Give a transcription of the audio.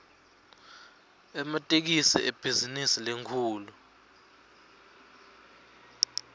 ematekisi ibhizinisi lenkhulu